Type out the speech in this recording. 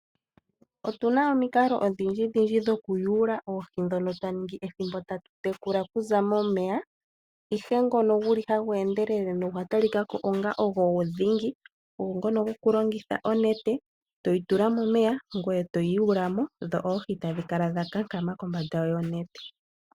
Otu na omikalo odhindjidhindji dhoku yuula oohi ndhono twa ningi ethimbo tatu tekula okuza momeya, ihe ngono gu li hagu endelele nogwa talika ko onga ogo dhingi, ogo ngono gwokulongitha onete, toyi tula momeya, ngweye toyi yuula mo, dho oohi tadhi kala dha kankama kombanda yonete.